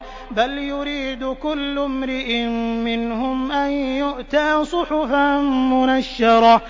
بَلْ يُرِيدُ كُلُّ امْرِئٍ مِّنْهُمْ أَن يُؤْتَىٰ صُحُفًا مُّنَشَّرَةً